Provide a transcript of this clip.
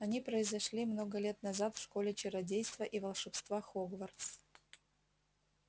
они произошли много лет назад в школе чародейства и волшебства хогвартс